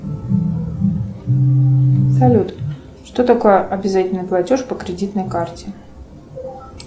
салют что такое обязательный платеж по кредитной карте